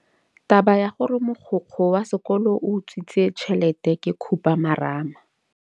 Taba ya gore mogokgo wa sekolo o utswitse tšhelete ke khupamarama.